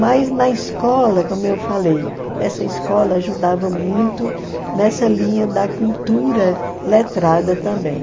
Mas na escola, como eu falei, essa escola ajudava muito nessa linha da cultura letrada também.